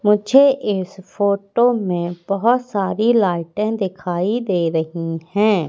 मुझे इस फोटो में बहोत सारी लाइटें दिखाई दे रही हैं।